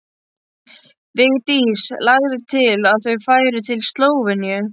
Vigdís lagði til að þau færu til Slóveníu.